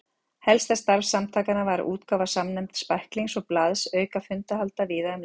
Helsta starf samtakanna var útgáfa samnefnds bæklings og blaðs auka fundahalda víða um land.